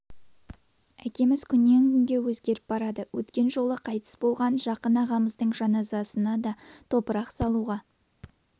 әкеміз күннен күнге өзгеріп барады өткен жолы қайтыс болған жақын ағамыздың жаназасына да топырақ салуға